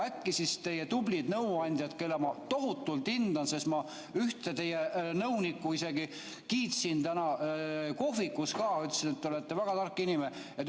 Teil on tublid nõuandjad, keda ma tohutult hindan, ma ühte teie nõunikku isegi kiitsin kohvikus ka, ütlesin, et ta on väga tark inimene.